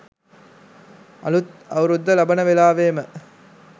අලුත් අවුරුද්ද ලබන වෙලාවේම